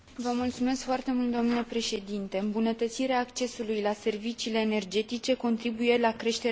Îmbunătățirea accesului la serviciile energetice contribuie la creșterea calității vieții populației.